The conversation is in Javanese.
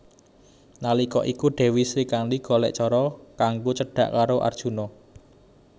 Nalika iku Dèwi Srikandhi golèk cara kanggo cedhak karo Arjuna